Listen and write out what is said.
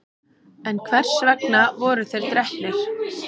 en hvers vegna voru þeir drepnir